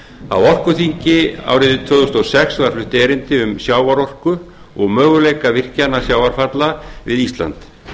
á orkuþingi árið tvö þúsund og sex var flutt erindi um sjávarorku og möguleika virkjana sjávarfalla við ísland